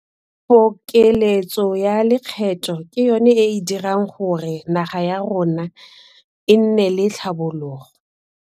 Pokeletso ya lekgetho ke yona e e dirang gore naga ya rona e nne le tlhabologo.